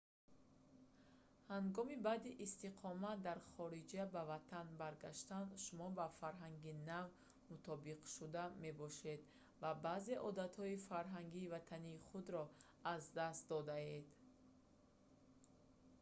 ҳангоми баъди истиқомат дар хориҷа ба ватан баргаштан шумо ба фарҳанги нав мутобиқшуда мебошед ва баъзе одатҳои фарҳанги ватании худро аз даст додаед